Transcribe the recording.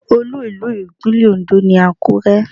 Olú ìlú Ìpínlẹ̀ Ondo ni Àkúrẹ́.